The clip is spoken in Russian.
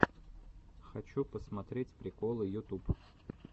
хочу посмотреть приколы ютуб